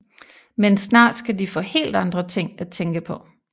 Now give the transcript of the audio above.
Men snart skal de få helt andre ting at tænke på